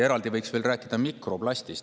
Eraldi võiks rääkida mikroplastist.